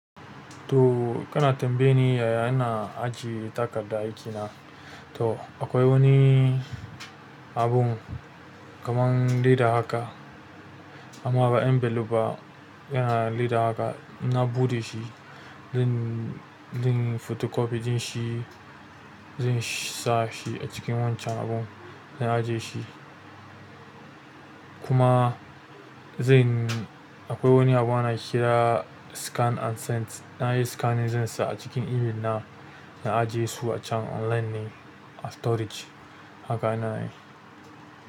To kana tambaye ni yaya ina ajiye takarda aikina. To akwai wani abun kamar leda haka amma ba envelope ba, yana leda haka. Na buɗe shi, zan, zan photocopy ɗin shi, zan sa shi a cikin wancan abun, na ajiye shi. Kuma zan, akwai wani abu ana ƙira scan and send. Na yi scanning zansa a cikin email na, na ajiye su a can online ne a storage. Haka ina yi.